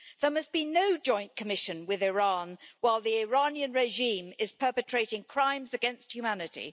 There must be no joint commission with Iran while the Iranian regime is perpetrating crimes against humanity.